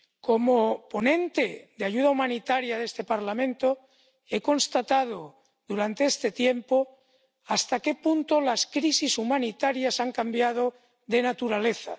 Como ponente en cuestiones de ayuda humanitaria de este Parlamento, he constatado durante este tiempo hasta qué punto las crisis humanitarias han cambiado de naturaleza.